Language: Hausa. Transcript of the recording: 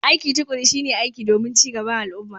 Aiki tuƙuru shi ne aiki domin cin gaban al'umma.